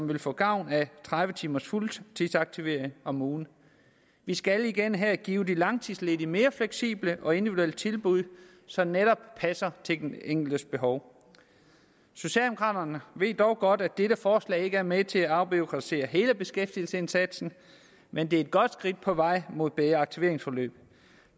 vil få gavn af tredive timers fuldtidsaktivering om ugen vi skal igen her give de langtidsledige mere fleksible og individuelle tilbud som netop passer til den enkeltes behov socialdemokraterne ved godt at dette forslag ikke er med til at afbureaukratisere hele beskæftigelsesindsatsen men det er et godt skridt på vejen mod bedre aktiveringsforløb